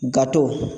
Gato